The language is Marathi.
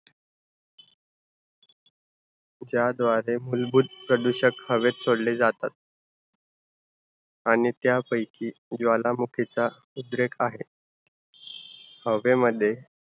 ज्याद्वारे मूलभूत प्रदूषक हवेत सोडले जातात. आणि त्यापैकी ज्वालामुखीचा उद्रेक आहे. हवेमध्ये